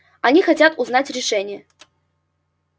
они хотят узнать решение